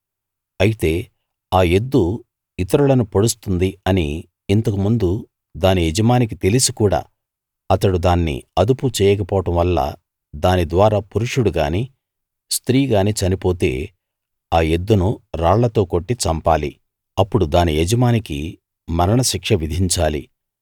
అయితే ఆ ఎద్దు ఇతరులను పొడుస్తుంది అని ఇంతకు ముందు దాని యజమానికి తెలిసి కూడా అతడు దాన్ని అదుపు చేయక పోవడం వల్ల దాని ద్వారా పురుషుడు గానీ స్త్రీ గానీ చనిపోతే ఆ ఎద్దును రాళ్లతో కొట్టి చంపాలి అప్పుడు దాని యజమానికి మరణశిక్ష విధించాలి